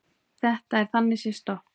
Þetta er þannig séð stopp